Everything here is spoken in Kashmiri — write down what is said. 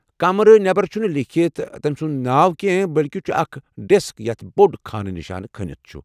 کمرٕ نمبر چھُنہٕ لیٖکھِتھ تٔمۍ سُنٛد ناو کینٛہہ بلکہ چھُ اکھ ڈیسك یتھ بوٚڈ خان نشانہٕ کھٔنتھ چُھ ۔